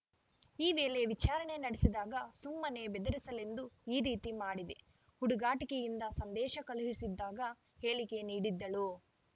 ಈ ವೇಳೆ ವಿಚಾರಣೆ ನಡೆಸಿದಾಗ ಸುಮ್ಮನೆ ಬೆದರಿಸಲೆಂದು ಈ ರೀತಿ ಮಾಡಿದೆ ಹುಡುಗಾಟಿಕೆಯಿಂದ ಸಂದೇಶ ಕಳುಹಿಸಿದ್ದಾಗಿ ಹೇಳಿಕೆ ನೀಡಿದ್ದಳು